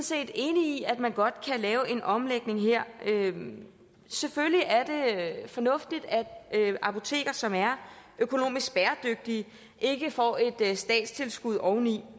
set enige i at man godt kan lave en omlægning her selvfølgelig er det fornuftigt at apoteker som er økonomisk bæredygtige ikke får et statstilskud oveni